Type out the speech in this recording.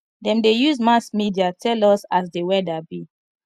dem dey use mass media tell us as di weather be